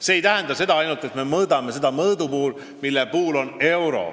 See ei tähenda seda, et me ainult mõõdame kõike mõõdupuuga, mille mõõtühik on euro.